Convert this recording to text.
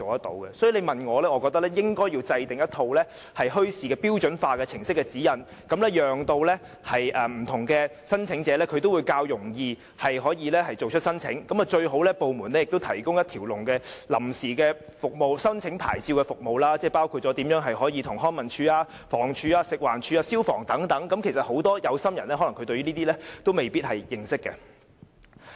所以，如果你問我，我認為應該制訂一套舉辦墟市的標準化程序指引，讓不同申請者也可以較容易地提出申請，各部門最好也提供一條龍的申請臨時牌照服務，包括向康樂及文化事務署、房屋署、食環署和消防處申請等，因為很多有心人其實也是未必認識相關程序的。